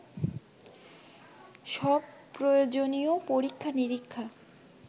সব প্রয়োজনীয় পরীক্ষা-নীরিক্ষা